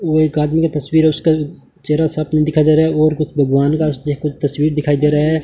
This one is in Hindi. और एक आदमी का तस्वीर है और उसका चेहरा साफ नहीं दिखाई दे रहा है और कुछ भगवान का चाहे कुछ तस्वीर दिखाई दे रहा है।